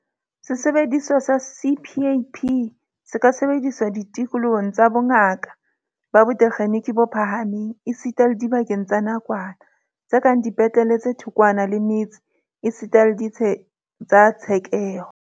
Sesebediswa sa CPAP se ka sebediswa ditikolohong tsa bongaka ba botekgeniki bo phahameng esita le dibakeng tsa nakwana, tse kang dipetlele tse thokwana le metse esita le ditsheng tsa tshekeho.